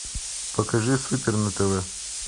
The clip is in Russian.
покажи супер на тв